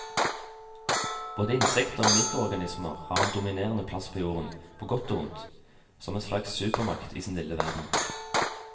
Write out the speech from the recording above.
Både insekter og mikroorganismer har en dominerende plass på jorden, på godt og ondt, som en slags supermakt i sin lille verden.